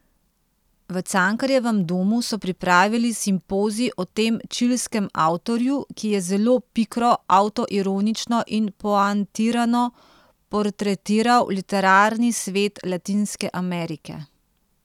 V Cankarjevem domu so pripravili simpozij o tem čilskem avtorju, ki je zelo pikro, avtoironično in poantirano portretiral literarni svet Latinske Amerike.